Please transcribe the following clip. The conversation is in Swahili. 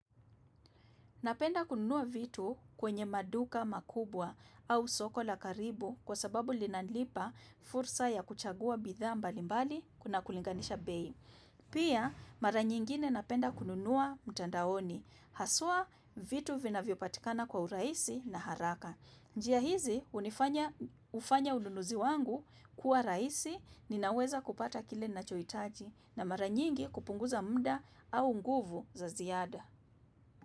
Napenda kununua vitu kwenye maduka makubwa au soko la karibu kwa sababu linanipa fursa ya kuchagua bidhaa mbali mbali na kulinganisha bei. Pia mara nyingine napenda kununua mtandaoni. Haswa vitu vinavyopatikana kwa urahisi na haraka. Njia hizi hufanya ununuzi wangu kuwa rahisi ninaweza kupata kile ninachohitaji na mara nyingi kupunguza muda au nguvu za ziada.